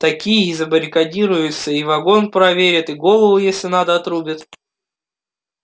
такие и забаррикадируются и вагон проверят и голову если надо отрубят